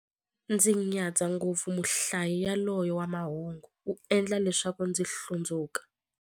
Ndzi nyadza ngopfu muhlayi yaloye wa mahungu, u endla leswaku ndzi hlundzuka.